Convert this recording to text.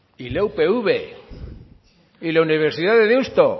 y a la upv la universidad de deusto